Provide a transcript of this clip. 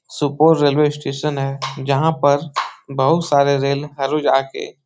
सुपोर railway station है जहाँ पर बहुत सारे रेल हर रोज आके --